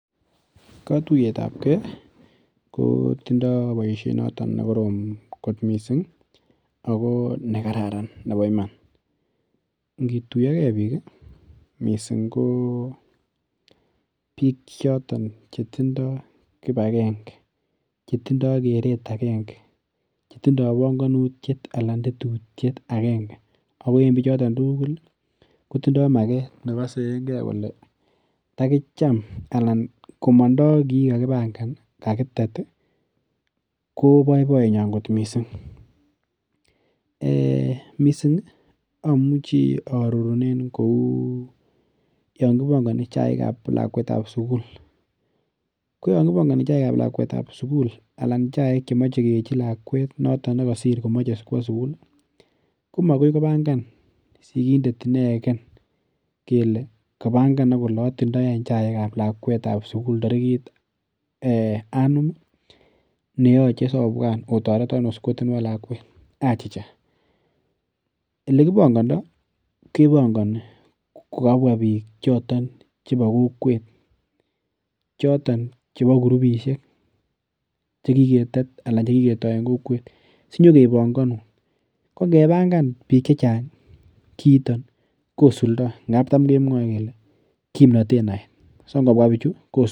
Katuiyetab ke kotindo boisiet noton nekorom kot mising ago nekararan nebo iman. Ngituiyoke biik mising ko biik choton chetindoi kipagenge, chetindoi keret agenge, chetindoi panganutiet anan tetutiet agenge ago en biichotok tugul kotindo maget nekosenge kole takicham anan komondo kii kakipangan. Kakitet ii koboiboiyenyon kot mising. Eeh! Mising amuchi arorunen kou yon kipangani chaikab lakwetab sugul. Koyon kipangani chaikab lakwetab sugul anan chaik chemoche keechi lakwet noton nekasir komoche kwo sugul. Komakoi kopangan sigindet inegen kele kapangan ak kele atindoi chaikab lakwetab sugul tarigit ee anum neyoche sobwan otoreton oskotenuon lakwet, achicha. Olekipangando kepangani kokabwa biik choton chebo kokwet choton chebo kurupisiek che kiketet anan che kiketo en kokwet, sinyekepanganun. Ko ngepangan biik che chang kiito kosulda ngab tam kemwoe kele kimnatet naet. So ngobwa biichu kosul